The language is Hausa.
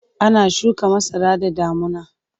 Ana shuka masara da damuna.